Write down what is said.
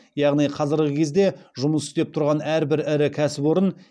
яғни қазіргі кезде жұмыс істеп тұрған әрбір ірі кәсіпорын